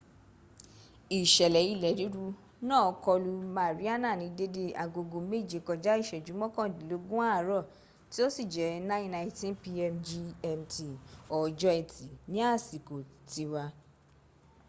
ìṣẹlẹ ilẹ̀ ríru náà kọlu mariana ní dédé agogo méje kọjá ìṣẹ́jú mọ́kàndínlógún àárọ̀ tí ó sì jẹ́ 09:19 p.m. gmt ọjọ́ ẹtì ní àsìkò tiwa